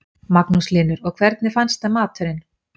Magnús Hlynur: Og hvernig finnst þeim maturinn?